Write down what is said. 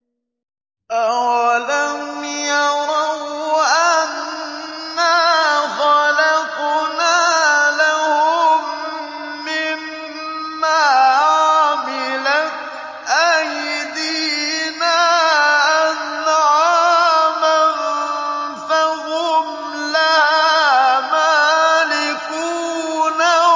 أَوَلَمْ يَرَوْا أَنَّا خَلَقْنَا لَهُم مِّمَّا عَمِلَتْ أَيْدِينَا أَنْعَامًا فَهُمْ لَهَا مَالِكُونَ